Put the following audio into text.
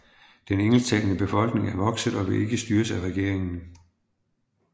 Den engelsktalende befolkning er vokset og vil ikke styres af regeringen